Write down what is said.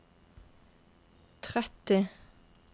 tretti